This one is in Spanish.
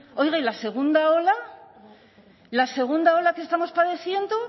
oiga y la segunda ola la segunda ola que estamos padeciendo